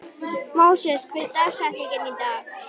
Móses, hver er dagsetningin í dag?